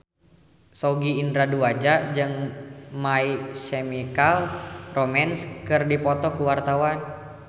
Sogi Indra Duaja jeung My Chemical Romance keur dipoto ku wartawan